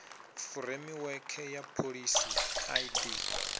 furemiwekhe ya pholisi i d